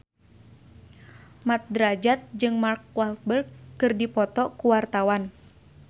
Mat Drajat jeung Mark Walberg keur dipoto ku wartawan